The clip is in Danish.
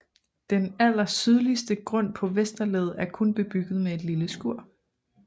Den allersydligste grund på Vesterled er kun bebygget med et lille skur